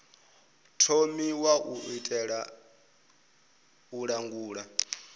thomiwa u itela u langula